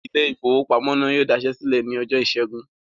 Ilé-ìfowópamọ́sí náà dasẹ́ sílẹ̀ lọ́jọ́ ìṣẹ́gun.